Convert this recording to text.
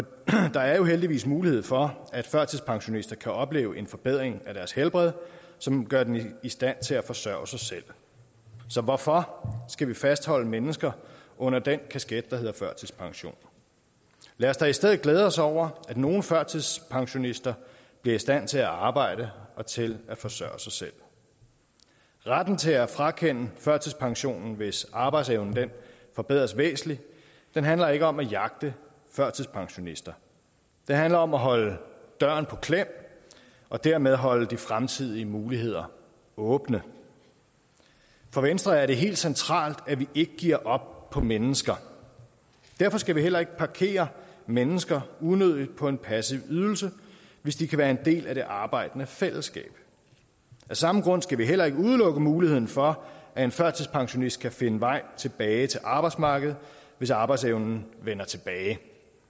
der er jo heldigvis mulighed for at førtidspensionister kan opleve en forbedring af deres helbred som gør dem i stand til at forsørge sig selv så hvorfor skal vi fastholde mennesker under den kasket der hedder førtidspension lad os da i stedet glæde os over at nogle førtidspensionister bliver i stand til at arbejde og til at forsørge sig selv retten til at frakende førtidspensionen hvis arbejdsevnen forbedres væsentligt handler ikke om at jagte førtidspensionister det handler om at holde døren på klem og dermed holde de fremtidige muligheder åbne for venstre er det helt centralt at vi ikke giver op over for mennesker derfor skal vi heller ikke parkere mennesker unødigt på en passiv ydelse hvis de kan være en del af det arbejdende fællesskab af samme grund skal vi heller ikke udelukke muligheden for at en førtidspensionist kan finde vej tilbage til arbejdsmarkedet hvis arbejdsevnen vender tilbage